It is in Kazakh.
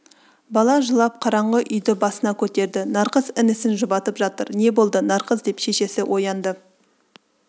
бала жылап қараңғы үйді басына көтерді нарқыз інісін жұбатып жатыр не болды нарқыз деп шешесі оянды